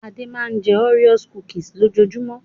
Ade máa ń jẹ́ òréò kukisì lójoojúmọ́.